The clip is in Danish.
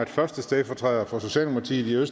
at første stedfortræder for socialdemokratiet i